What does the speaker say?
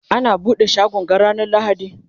ana buɗe shagon ga ranar lahadi?